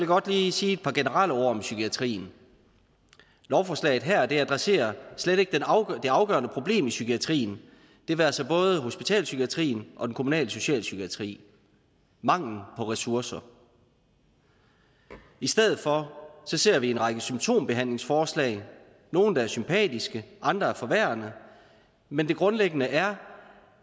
godt lige sige et par generelle ord om psykiatrien lovforslaget her adresserer slet ikke det afgørende problem i psykiatrien det være sig både hospitalspsykiatrien og den kommunale socialpsykiatri manglen på ressourcer i stedet for ser vi en række symptombehandlingsforslag nogle der er sympatiske andre er forværrende men det grundlæggende er